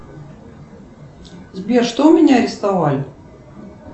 сбер что у меня арестовали